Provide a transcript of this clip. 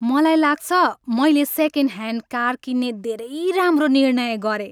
मलाई लाग्छ मैले सेकेन्ड ह्यान्ड कार किन्ने धेरै राम्रो निर्णय गरेँ।